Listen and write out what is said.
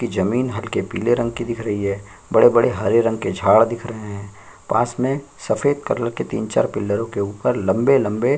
की जमीन हल्के पीले रंग की दिख रही है बड़े-बड़े हरे रंग के झाड़ दिख रहे है पास में सफेद कलर के तीन चार पिल्लरो के ऊपर लंबे-लंबे--